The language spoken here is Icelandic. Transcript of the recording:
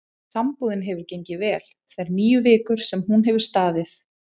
Sambúðin hefur gengið vel þær níu vikur sem hún hefur staðið.